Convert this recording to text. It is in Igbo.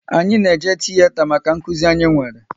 Anyị na eje tiyeta maka nkụzi anyị nwere